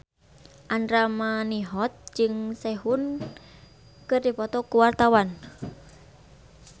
Andra Manihot jeung Sehun keur dipoto ku wartawan